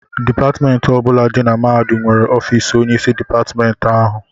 Dipatịmentị ọ bụla dị na mahadum nwere ọfiisi onyeisi dịpatịmentị ahụ.